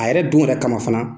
A yɛrɛ don yɛrɛ kama fana.